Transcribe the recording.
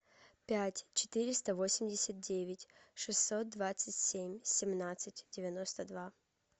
пять четыреста восемьдесят девять шестьсот двадцать семь семнадцать девяносто два